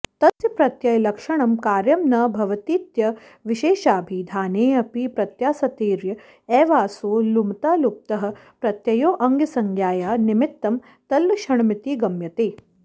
तस्य प्रत्ययलक्षणं कार्यं न भवतीत्यविशेषाभिधानेऽपि प्रत्यासत्तेर्य एवासौ लुमता लुप्तः प्रत्ययोऽङ्गसंज्ञाया निमित्तं तल्लक्षणमिति गम्यते